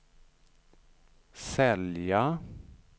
sälja